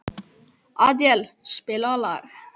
Adíel, spilaðu lag.